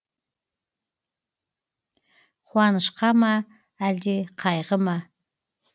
қуанышқа ма әлде қайғы ма